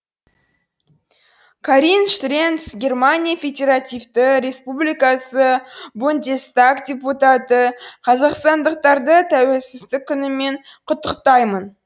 карин штренц германия федеративтік республикасы бундестаг депутаты қазақстандықтарды тәуелсіздік күнімен құттықтаймын